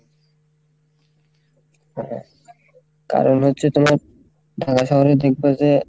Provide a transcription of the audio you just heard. হ্যাঁ কারণ হচ্ছে তোমার ঢাকা শহরে দেখবে যে,